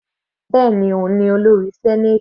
Bẹ́ẹ̀ni, òun ni olórí senate.